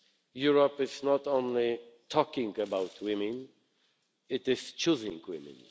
Europe is not only talking about women, it is choosing women.